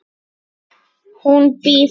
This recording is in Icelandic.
Hún bíður!